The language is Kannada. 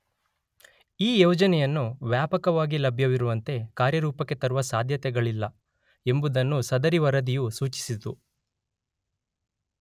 ಈ ಯೋಜನೆಯನ್ನು ವ್ಯಾಪಕವಾಗಿ ಲಭ್ಯವಿರುವಂತೆ ಕಾರ್ಯರೂಪಕ್ಕೆ ತರುವ ಸಾಧ್ಯತೆಗಳಿಲ್ಲ ಎಂಬುದನ್ನು ಸದರಿ ವರದಿಯು ಸೂಚಿಸಿತು.